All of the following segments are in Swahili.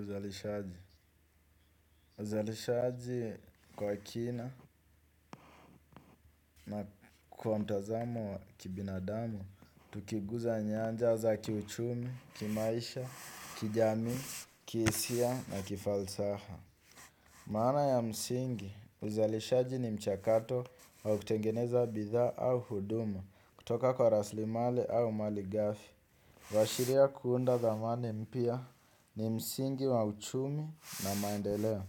Uzalishaji. Uzalishaji kwa kina na kwa mtazamo wa kibinadamu, tukiguza nyanja za kiuchumi, kimaisha, kijamii, kihisia na kifalsafa. Maana ya msingi, uzalishaji ni mchakato wa kutengeneza bidhaa au huduma kutoka kwa raslimali au malighafi. Waashiria kuunda dhamani mpya ni msingi wa uchumi na maendeleo.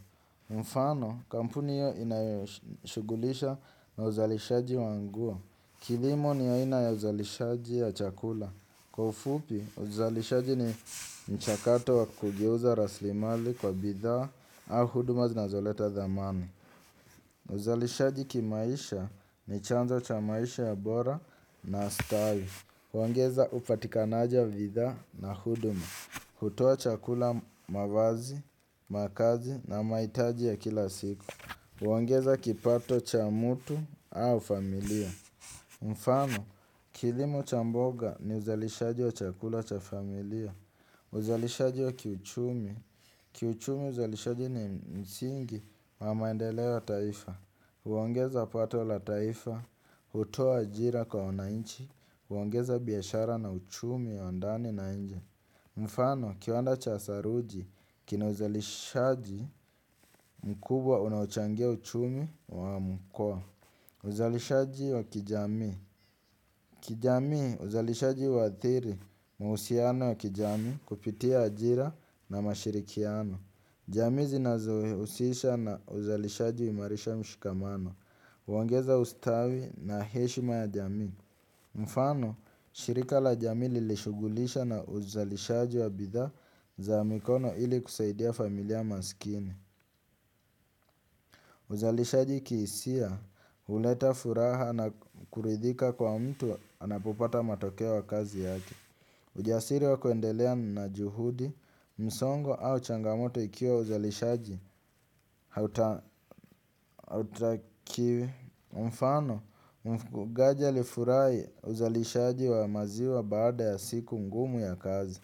Mfano, kampuni hiyo inayoshughulisha na uzalishaji wa nguo. Kilimo ni aina ya uzalishaji ya chakula. Kwa ufupi, uzalishaji ni mchakato wa kugeuza raslimali kwa bidhaa au huduma zinazoleta dhamani. Uzalishaji kimaisha ni chanzo cha maisha ya bora na style. Huongeza upatikanaji wa bidhaa na huduma. Hutoa chakula mavazi, makazi na mahitaji ya kila siku. Huongeza kipato cha mutu au familia. Mfano, kilimo chamboga ni uzalishaji wa chakula cha familia. Uzalishaji wa kiuchumi. Kiuchumi uzalishaji ni msingi wa maendeleo taifa. Huongeza pato la taifa. Hutoa ajira kwa wananchi. Huongeza biashara na uchumi wa ndani na nje. Mfano, kiwanda cha saruji, kina uzalishaji mkubwa unaochangia uchumi wa mkoa. Uzalishaji wa kijami. Kijamii, uzalishaji huathiri, mahusiano ya kijamii kupitia ajira na mashirikiano. Jamii zinazohusisha na uzalishaji uimarisha mshikamano. Uongeza ustawi na heshima ya jamii. Mfano, shirika la jamii lilishughulisha na uzalishaji wa bithaa za mikono ili kusaidia familia maskini. Uzalishaji kihisia, uleta furaha na kuridhika kwa mtu anapopata matokeo ya kazi yake. Ujasiri wa kuendelea na juhudi, msongo au changamoto ikiwa uzalishaji hauta kiwi. Mfano, mfugaji alifurahi uzalishaji wa maziwa baada ya siku ngumu ya kazi.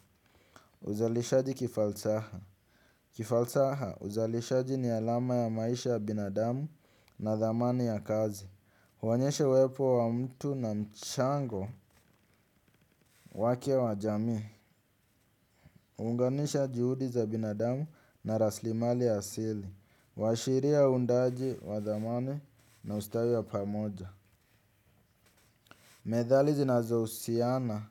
Uzalishaji kifalsaha. Kifalsaha uzalishaji ni alama ya maisha ya binadamu na dhamani ya kazi. Huonyesha uwepo wa mtu na mchango wake wa jamii. Unganisha juhudi za binadamu na raslimali ya asili uashiria uundaji wa dhamani na ustawi wa pamoja. Methali zinazo husiana,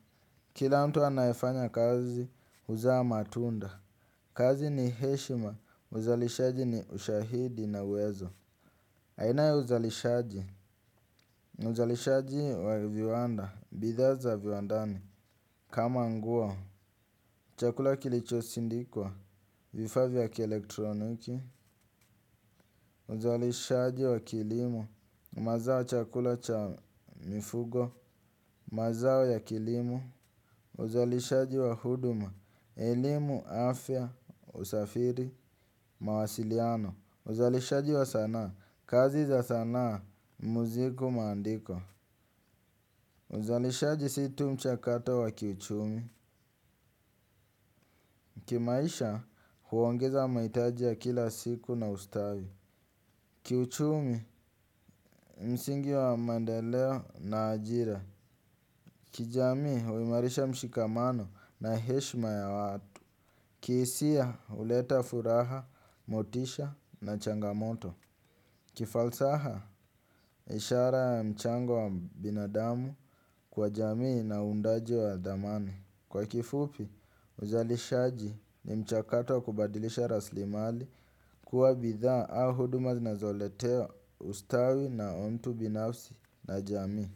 kila mtu anayefanya kazi huzaa matunda. Kazi ni heshima, uzalishaji ni ushahidi na uwezo. Aina ya uzalishaji, uzalishaji wa viwanda, bidhaa za viwandani. Kama nguo, chakula kilicho sindikwa, vifaa vya kielektroniki. Uzalishaji wa kilimo, mazao chakula cha mifugo, mazao ya kilimo. Uzalishaji wa huduma, elimu, afya, usafiri, mawasiliano. Uzalishaji wa sanaa, kazi za sanaa, muziku maandiko. Uzalishaji situ mchakato wa kiuchumi. Kimaisha huongeza mahitaji ya kila siku na ustawi. Kiuchumi msingi wa maendeleo na ajira. Kijamii huimarisha mshikamano na heshma ya watu. Kihisia, uleta furaha, motisha na changamoto. Kifalsaha, ishara ya mchango wa binadamu kwa jamii na uundaji wa thamani. Kwa kifupi, uzalishaji ni mchakato wa kubadilisha raslimali kuwa bidhaa au huduma zinazoleteo ustawi na mtu binafsi na jamii.